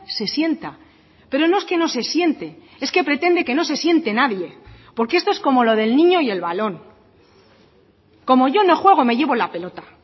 se sienta pero no es que no se siente es que pretende que no se siente nadie porque esto es como lo del niño y el balón como yo no juego me llevo la pelota